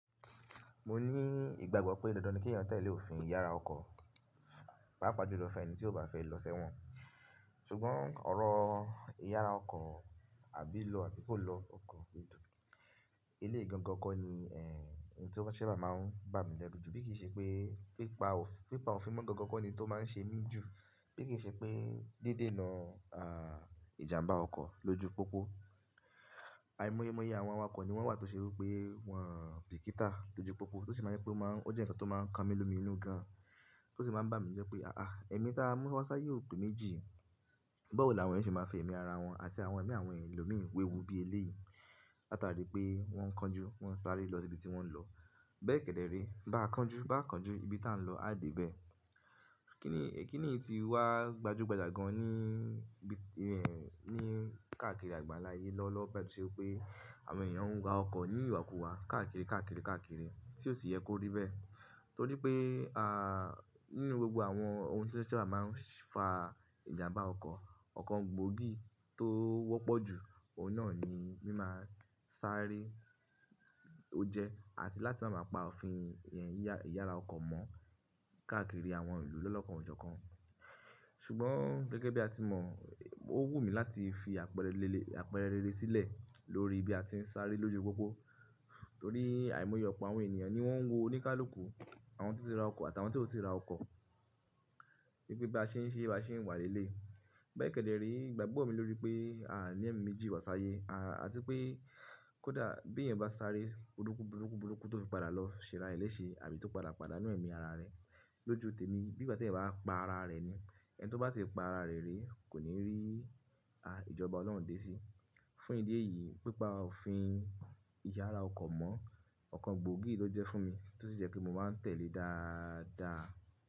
Mo ní ìgbàgbọ́ pé dandan ni kí èèyàn tẹ̀lé òfin ìyára ọkọ̀, pàápa jú lọ fún ẹni tí kò bá fẹ́ lọ sẹ́wọ̀n. Ṣùgbọ́n ọ̀rọ̀ ìyára ọkọ̀ àbí lọ àbí kò lọ ọkọ̀, eleyi gangan kọ ni ehn, ẹ̀yi tí o ṣa bá máa ń bá mi lẹ́ru jù. Bí kì í ṣe pé pípa òfin mọ́ gangan kọ́ ni tó máa ń ṣe mí jù, bí kì í ṣe pé dídènà ìjàmbá ọkọ̀ lójú pópó. Àìmọ́ye àwọn awakọ̀ ni wọ́n wà tó ṣe wípé wọ́n bìkítà lójú pópó tó sì máa ń ṣe pé ó jẹ́ ǹkan tó máa ń kan mí lómí inú gan, tó sì máa ń bá mi jẹ́ pé àáà, ẹ̀mí táa mú wá sáyé ò pe méjì. Bawọ̀ ni àwọn eyan ṣe máa ń fi ẹ̀mí ara wọn àti àwọn ẹ̀mí àwọn ẹlòmíì wewu bí eléèyì. Latari pé wọ́n ń kánjú, wọ́n ń sáré lọ sí ibi tí wọ́n ń lọ. Bẹ́ẹ̀ kẹ́dẹ̀ ré, bá a kánjú, bá a kánjú, ibi tí à ń lọ á de.bẹ́ẹ̀. Kí nì, kí nì tí wá gbajúgbajà gan ní ibi, ní káàkiri àgbànlá ayé lọ́wọ́lowo báyìí to ṣe wí pé àwọn èèyàn ń wa ọkọ̀ ní ìwàkuwà káàkiri, káàkiri, káàkiri tí ò sì yẹ kó rí bẹ́ẹ̀? Torí pé nínú gbogbo àwọn ohun tí o ṣa bá máa ń fa ìjàmbá ọkọ̀, ọ̀kan gbòógì tó wọ́pọ̀ jù, òun náà ni mímá sárẹ́ ó jẹ́ àti láti máa pa òfin ìyára ọkọ̀ mọ́ káàkiri àwọn ìlú lọ́lọ́kan ọ̀jọ̀kan. Ṣùgbọ́n gẹ́gẹ́ bí a ti mọ̀, ó wù mí láti fi àpẹẹrẹ rere sílẹ̀ lórí bí a ti ń sáré lójú pópó. Torí àìmọye ọ̀pọ̀ àwọn ènìyàn ni wọ́n ń wo oníkálùkù àwọn tí ó ti ra ọkọ̀ àti àwọn tíò ti ra ọkọ̀. Wípé bí a ṣe ń ṣe, bá ṣe ń wà lẹ́lẹ́. Bẹ́ẹ̀ kẹ́dẹ̀ rí, ìgbàgbọ́ mi lórí pé àni ẹ̀mí méjì wá sáyé àti pé kó dà bí èèyàn bá sáré burúkú, burúkú, burúkú tó fi padà lọ ṣera ilé ṣe àbí tó padà padà nínú ẹ̀mí ara rẹ̀ lójú tèmi. Bí ìgbà tí èèyàn bá pa ara rẹ̀ ni. Ẹni tó bá ti pa ara rẹ̀ rí kò ní rí ìjọba Ọlọ́run dé sí. Fún ìdí èyí, pípa òfin ìyára ọkọ̀ mọ́ ọ̀kan gbòógì ló jẹ́ fún mi tó sì jẹ́ pé mo máa ń tẹ̀lé dáadáa.